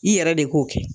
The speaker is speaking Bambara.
I yɛrɛ de k'o kɛ